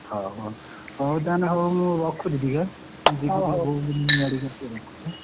ହଉ ହଉ ହଉ ତାହେଲେ ହଉ ମୁଁ ରଖୁଛି ଟିକେ ଆଁ ଜିବି ଟିକେ ବୋଉକୁ ନେଇକି medical ଟିକେ ରଖୁଛି ଆଁ ।